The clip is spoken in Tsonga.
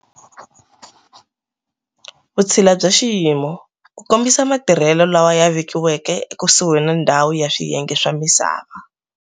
Vutshila bya Xiyimo-ku kombisa matirhelo lawa ya vekiwaka ekusuhi na ndhawu ni swiyenge swa misava.